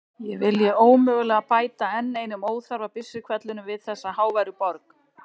Ég vilji ómögulega bæta enn einum óþarfa byssuhvellinum við þessa háværu borg.